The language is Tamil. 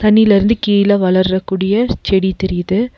தண்ணீல இருந்து கீழ வளர்ரக்கூடிய செடி தெரியிது.